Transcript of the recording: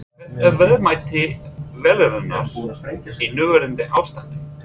Hvert er verðmæti vélarinnar í núverandi ástandi?